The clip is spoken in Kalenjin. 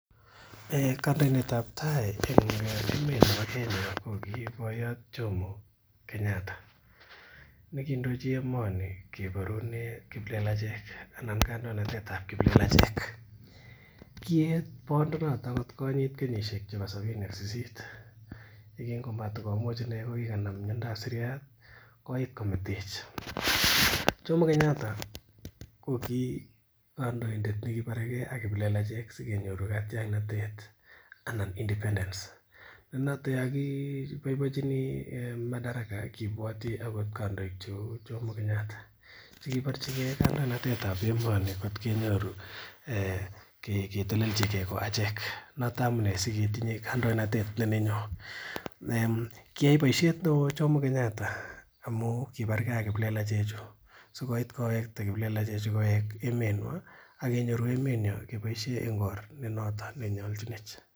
Kandoindetab tai en emeet nebo Kenya ko ki boyot jomo Kenyatta. Neindochi emoni keborunen kiplelachek anan kandoinatet tab kiplelachek kiet boondenaro atkoit kenyisiek sabini ak sisit, imuch ine kikanam miandab koit kometech Jomo Kenyatta ko ki kandoindet nekiborege ak kiplelachek sikenyoru katiaknatet, anan independence tam kibwoti akot kandoik cheuu akoth jomo Kenyatta chekibor chike kandoinatet noton sikonyorchike kiayai boisiet neoo jomo Kenyatta amuun kibarke ak kiplelachek chu sikobit kowekta ke kiplelachek emet nyuan akenyoru emet nyon kebaisien emet nenyalchinech.